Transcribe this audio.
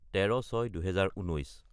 : 13-06-2019